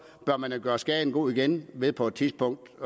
bør man gøre skaden god igen ved på et tidspunkt